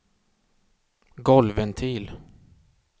golvventil